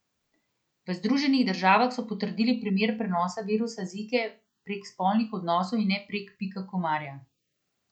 V Združenih državah so potrdili primer prenosa virusa Zike prek spolnih odnosov in ne prek pika komarja.